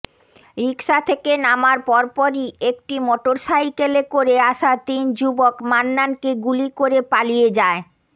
রিকশা থেকে নামার পরপরই একটি মোটরসাইকেলে করে আসা তিন যুবক মান্নানকে গুলি করে পালিয়ে যায়